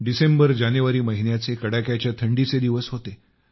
डिसेंबरजानेवारी महिन्याचे कडाक्याच्या थंडीचे दिवस होते